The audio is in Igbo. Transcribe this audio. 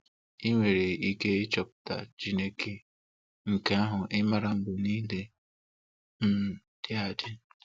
ị nwere ike ịchọpụta Chineke nke ahụ ị maara mgbe niile um dị adị.